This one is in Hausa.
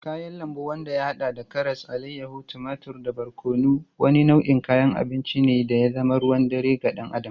Kayan lambu wanda ya hada da karas, alayyahu, tumatur da barkono, wani nau'in kayan abinci ne da ya zama ruwan dare ga dan Adam.